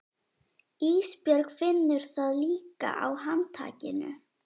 Ísbjörg finnur það líka á handtakinu.